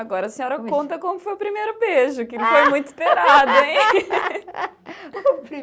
Agora a senhora conta como foi o primeiro beijo, que ele foi muito esperado, hein? o